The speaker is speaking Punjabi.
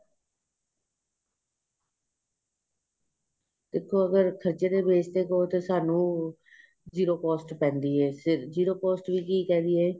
ਦੇਖੋ ਅਗ਼ਰ ਖਰਚੇ ਤੇ base ਕਹੋ ਤੇ ਤੁਹਾਨੂੰ zero cost ਪੈਂਦੀ ਏ zero cost ਕੀ ਕਹਿ ਰਹੀ ਏ